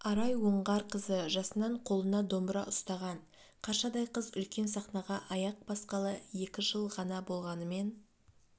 арай оңғарқызы жасынан қолына домбыра ұстаған қаршадай қыз үлкен сахнаға аяқ басқалы екі жыл ғана болғанымен